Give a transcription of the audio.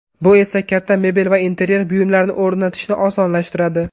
Bu esa katta mebel va interyer buyumlarini o‘rnatishni osonlashtiradi.